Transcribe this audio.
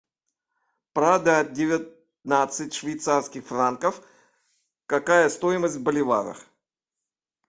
продать девятнадцать швейцарских франков какая стоимость в боливарах